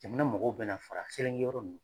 Jamana mɔgɔw bɛna fara Selinge yɔrɔ ninnu